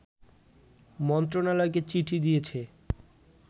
মন্ত্রণালয়কে চিঠি দিয়েছে